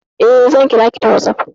Eh, zan kira ki ta WhatsApp.